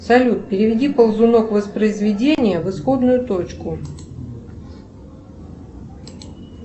салют переведи ползунок воспроизведения в исходную точку